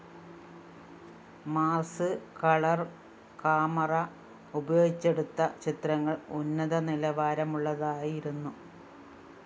Mars colour camera ഉപയോഗിച്ചെടുത്ത ചിത്രങ്ങള്‍ ഉന്നത നിലവാരമുള്ളതായിരുന്നു